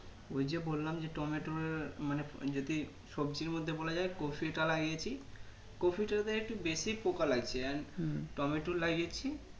ওই যে বললাম যে টমেটোর মানে যদি সবজির মধ্যে বলা যাই কফিটা লাগিয়েছি কফিটো তে একটু বেশি পোকা লাগছে And টমেটো লাগিয়েছি